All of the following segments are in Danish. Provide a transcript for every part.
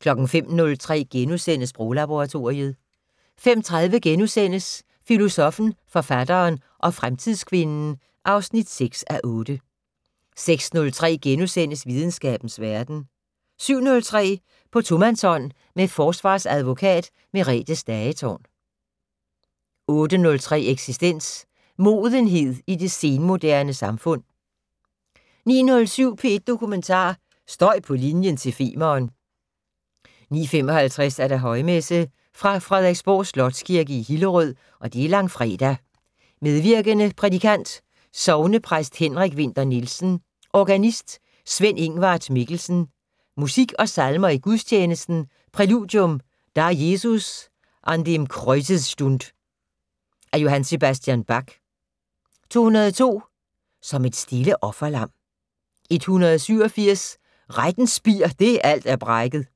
05:03: Sproglaboratoriet * 05:30: Filosoffen, forfatteren og fremtidskvinden (6:8)* 06:03: Videnskabens Verden * 07:03: På tomandshånd med forsvarsadvokat Merethe Stagetorn 08:03: Eksistens: Modenhed i det senmoderne samfund 09:07: P1 Dokumentar: Støj på linjen til Femern 09:55: Højmesse - Fra Frederiksborg Slotskirke, Hillerød. Langfredag. Medvirkende: Prædikant: sognepræst Henrik Winther Nielsen. Organist: Sven-Ingvart Mikkelsen. Musik og salmer i gudstjenesten: Præludium: "Da Jesus an dem Kreuze stund" af J.S. Bach. 202: "Som et stille offerlam". 187: "Rettens spir det alt er brækket".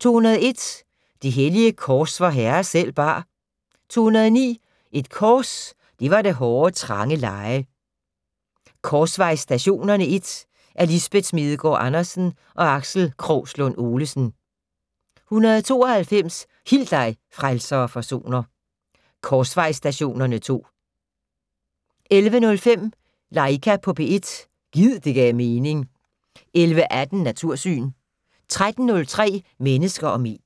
201: "Det hellige kors vor Herre selv bar". 209: "Et kors det var det hårde, trange leje". "Korsvejsstationerne I" af Lisbeth Smedegaard Andersen og Aksel Krogslund Olesen. 192: "Hil dig, frelser og forsoner". "Korsvejsstationerne II". 11:05: Laika på P1 - gid det gav mening 11:18: Natursyn 13:03: Mennesker og medier